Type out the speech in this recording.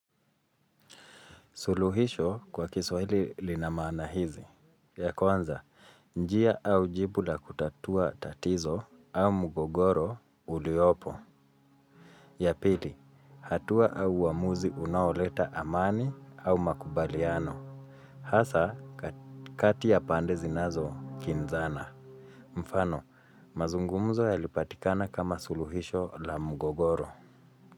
Suluhisho kwa kiswahili lina maana hizi. Ya kwanza, njia au jibu la kutatua tatizo au mgogoro uliopo. Ya pili, hatua au uamuzi unaoleta amani au makubaliano. Hasa, kati ya pande zinazo kinzana. Mfano, mazungumzo ya lipatikana kama suluhisho la mgogoro.